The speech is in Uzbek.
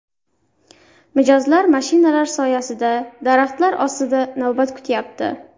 Mijozlar mashinalar soyasida, daraxtlar ostida navbat kutyapti.